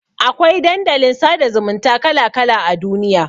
Akwai Dandalin sada zumunta kala kala a duniya